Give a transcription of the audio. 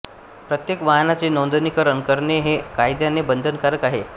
प्रत्येक वाहनाचे नोंदणीकरण करणे हे कायद्याने बंधनकारक आहे